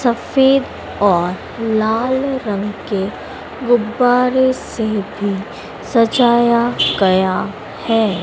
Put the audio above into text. सफेद और लाल रंग के गुब्बारे से भी सजाया गया है।